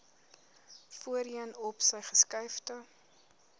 voorheen opsy geskuifde